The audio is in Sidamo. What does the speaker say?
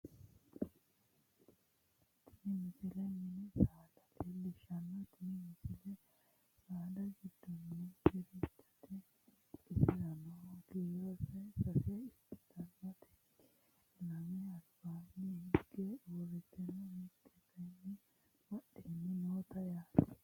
tini misile mini saada leellishshanno tini misi saada giddono gerechote insano kiironsa sase ikkitannoreeti lame albaanni hige uurreenna mitte kayeenni badheenni noote yaate